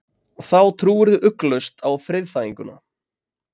Þá trúirðu ugglaust á friðþæginguna.